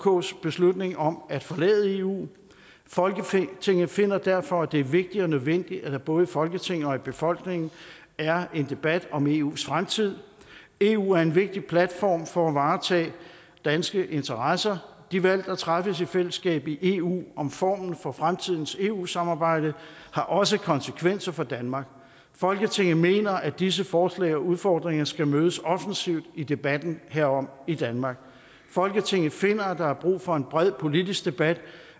uks beslutning om at forlade eu folketinget finder derfor at det er vigtigt og nødvendigt at der både i folketinget og i befolkningen er en debat om eus fremtid eu er en vigtig platform for at varetage danske interesser de valg der træffes i fællesskab i eu om formen for fremtidens eu samarbejde har også konsekvenser for danmark folketinget mener at disse forslag og udfordringer skal mødes offensivt i debatten herom i danmark folketinget finder at der er brug for en bred politisk debat